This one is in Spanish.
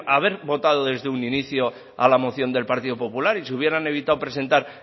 haber votado desde un inicio a la moción del partido popular y se hubieran evitado presentar